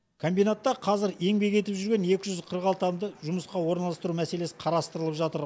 комбинатта қазір еңбек етіп жүрген екі жүз қырық алты адамды жұмысқа орналастыру мәселесі қарастырылып жатыр